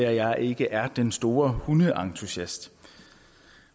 at jeg ikke er den store hundeentusiast